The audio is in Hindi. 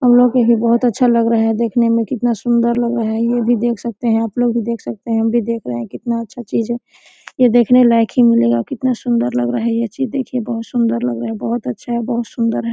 हमलोग का ही बहोत अच्छा लग रहा है देखने में कितना सुन्दर लग रहा है ये भी देख सकते है आपलोग भी देख सकते है हम भी देख रहे है कितना अच्छा चीज़ है। ये देखने लायक ही मिलेगा कितना सुन्दर लग रहा है ये चीज़ देखिये बहुत सुन्दर लग रहा है बहुत अच्छा है बहुत सुन्दर है।